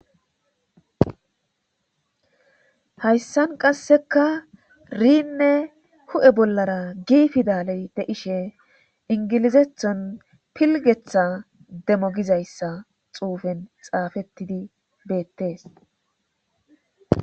hayssan qasseka riinne hu'e bollara gi fidaley de'ishe ingilizethon pilgetha demo gizayssa xuufen xaafettidi beettees